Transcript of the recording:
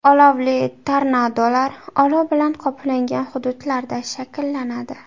Olovli tornadolar olov bilan qoplangan hududlarda shakllanadi.